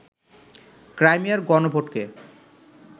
ক্রাইমিয়ার গণভোটকে